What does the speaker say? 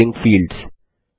labelling fields